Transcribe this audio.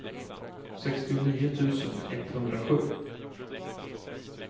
sextionio tusen etthundrasju